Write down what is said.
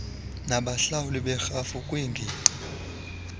abahlawuli berhafu kwingingqi